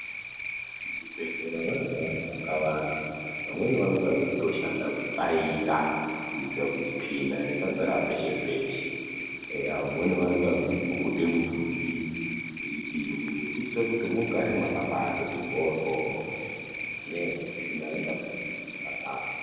Muzvibhedhlera vanoda vanhu vakawanda vamweni vanenge veyitoshanda kutsvaira kuitira kuti tsvina isadzara pese peshee eyaa vamweni vanenge veyipukute mudhuri veyidini kuitira kuti mugare makabaitoti mbodyo ngenyaya yekuti ingatapudzika muwandu.